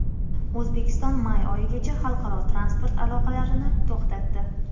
O‘zbekiston may oyigacha xalqaro transport aloqalarini to‘xtatdi.